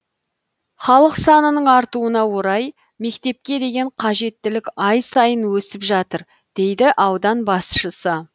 халық санының артуына орай мектепке деген қажеттілік ай сайын өсіп жатыр дейді аудан басшысы